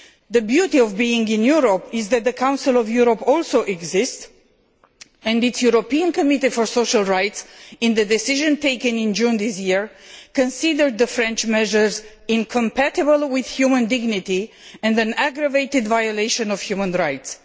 The beauty of being in Europe is that the Council of Europe also exists and its European Committee for Social Rights, in the decision taken in June this year, considered the French measures incompatible with human dignity' and an aggravated violation of human rights'.